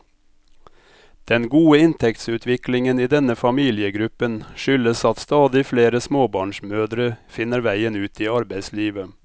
Den gode inntektsutviklingen i denne familiegruppen skyldes at stadig flere småbarnsmødre finner veien ut i arbeidslivet.